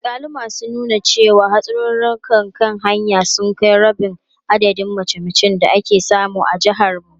Alkaluma sun nuna cewa, hatsarurrukan kan hanya sun kai rabin adadin mace-macen da ake samu a jihar tamu.